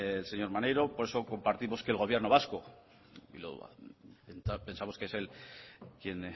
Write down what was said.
el señor maneiro por eso compartimos que el gobierno vasco quizá pensamos que es él quien